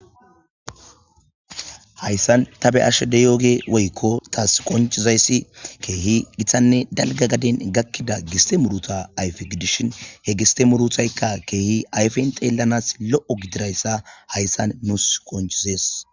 Hayssan ta be ashede yooge woykko taas qoncizayssi keehi githanne dalga gaden gakkida giste muruta ayfe gidishin he giste muruthaykka keehi ayfen xeellanas lo'o gidirayssa hayssan nuus qonchizees.